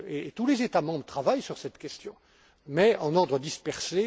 jouer tous les États membres travaillent sur cette question, mais en ordre dispersé.